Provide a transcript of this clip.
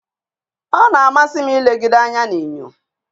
Ọ na-amasị m ilegide anya n'enyo.